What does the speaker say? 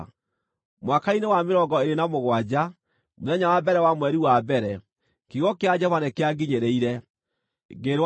Mwaka-inĩ wa mĩrongo ĩĩrĩ na mũgwanja, mũthenya wa mbere wa mweri wa mbere, kiugo kĩa Jehova nĩkĩanginyĩrĩire, ngĩĩrwo atĩrĩ: